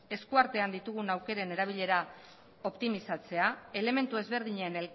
eskuartean ditugun aukeren erabilera optimizatzea elementu ezberdinen